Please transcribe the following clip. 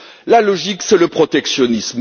la logique, c'est le protectionnisme.